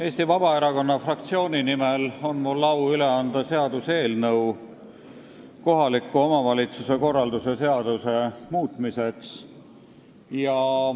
Eesti Vabaerakonna fraktsiooni nimel on mul au üle anda seaduseelnõu kohaliku omavalitsuse korralduse seaduse muutmiseks.